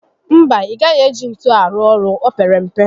No, ị gaghị eji ntu arụ ọrụ, o pere mpe